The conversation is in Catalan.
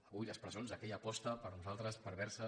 avui les presons d’aquella aposta per nosaltres perversa